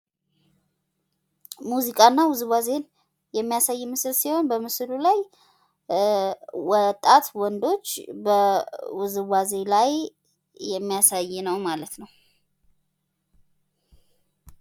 ሙዚቃ እና ውዝዋዜን የሚያሳይ ምስል ሲሆን በምስሉ ላይ ወጣት ወንዶች በውዝዋዜ ላይ የሚያሳይ ነው ማለት ነው።